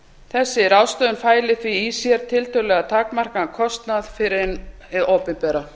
þessi ráðstöfun fæli því í sér tiltölulega takmarkaðan kostnað fyrir hið opinbera